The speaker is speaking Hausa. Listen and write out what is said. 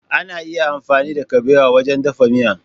Ana iya amfani da kuɓewa wajen dafa miya.